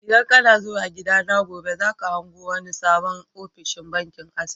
ldan kana zuwa gida na gobe, za ka hango wani sabon ofishin bankin access.